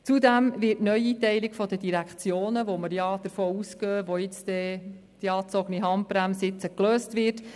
Zudem wird die Neueinteilung der Direktionen noch zu weiteren Wechseln führen, wobei wir dort davon ausgehen, dass die angezogene Handbremse gelöst wird.